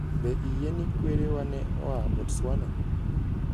Be iyie ni kwerewa ne oa Botswana?